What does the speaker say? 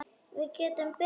Við getum beðið.